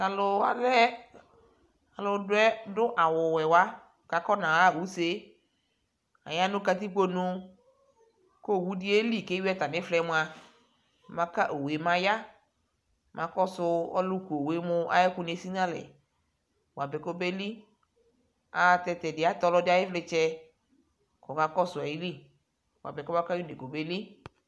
Taluwa lɛ aludu awuwɛwa kakɔnaɣa usee ayanu katikponu kowudi yeli kewi atamiflɛɛmua maka owue mayaa makɔsuu ɔlukuowue muayɛkoni esinalɛɛ bapɛ kobeli ayɛlutɛ tɛdiɛ atɛ ɔlɔdi ayivlitsɛ kɔkakɔsu ayili buapɛ kɔba kayi unee kɔbeli